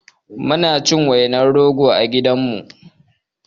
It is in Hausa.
Muna cin wainar rogo a gidanmu